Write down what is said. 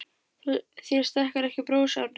Þér stekkur ekki bros Árni.